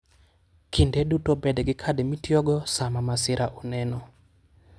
Kinde duto bed gi kad mitiyogo sama masira oneno.